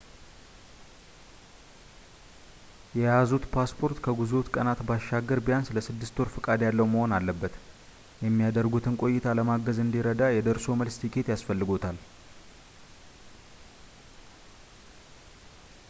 የያዙት ፓስፓርት ከጉዞዎት ቀናት ባሻገር ቢያንስ ለ6ወር ፈቃድ ያለው መሆን አለበት የሚያደርጉትን ቆይታ ለማገዝ እንዲረዳ የደርሶ መልስ ቲኬት ያስፈልጎታል